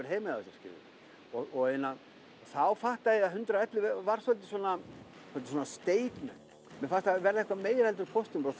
heima hjá sér þá fattaði ég að hundrað og ellefu var statement mér fannst það vera meira en póstnúmer og